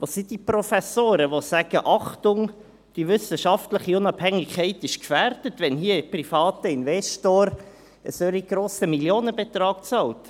Wo sind die Professoren, die sagen: Achtung, die wissenschaftliche Unabhängigkeit ist gefährdet, wenn hier ein privater Investor einen solch grossen Millionenbetrag bezahlt.